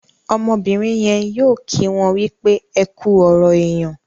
Ọmọbìrìn yén yóò kí wón wípé ẹkú ọrọ èyán.